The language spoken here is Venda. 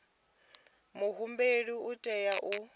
muhumbeli u tea u ḓadza